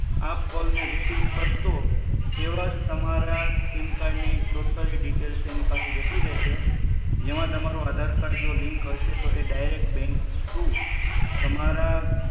તમારા આપ કોલ ને રિસિવ કરશો એવાજ તમારા સિમ કાર્ડ ની ટોટલી ડિટેલ્સ એની પાસે જતી રહેશે જેમાં તમારું અધર કાર્ડ જો લિંક હશે તો એ ડાયરેક્ટ બેંક ટૂ તમારા